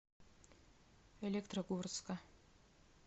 электрогорска